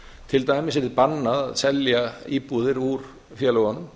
til dæmis yrði bannað að selja íbúðir úr félögunum